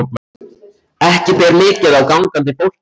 Ekki ber mikið á gangandi fólki.